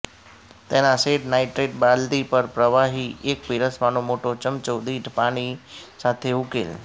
તેના શેડ નાઈટ્રેટ બાલદી પર પ્રવાહી એક પીરસવાનો મોટો ચમચો દીઠ પાણી સાથે ઉકેલ